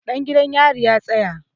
Ɗan gidan yarin ya tsaya!